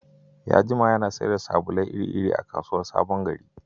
Ya jima yana sayar da sabulai iri-iri a kasuwar SabonGari.